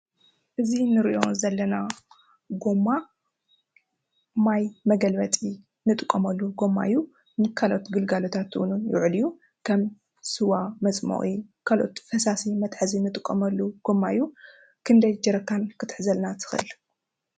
እዚ እንሪኦ ዘለና ጎማ ማይ መገልበጢ እንጥቀመሉ ጎማ እዩ። ንካልኦት ግልጋሎታት ክውዕል እውን ዝኽእል እዩ ከም ስዋ መፅሞቒ ካልኦት ፈሳሲ መትሓዚ እንጥቀመሉ ጎማ እዩ። ኽንደይ ጀሪካን ክትሕዘልና ትኽእል?